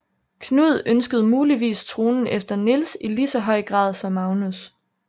Knud ønskede muligvis tronen efter Niels i lige så høj grad som Magnus